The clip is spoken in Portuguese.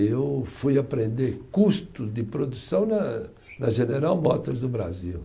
Eu fui aprender custo de produção na, na General Motors do Brasil.